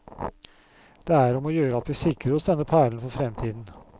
Det er om å gjøre at vi sikrer oss denne perlen for fremtiden.